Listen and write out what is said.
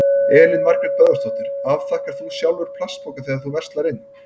Elín Margrét Böðvarsdóttir: Afþakkar þú sjálfur plastpoka þegar þú verslar inn?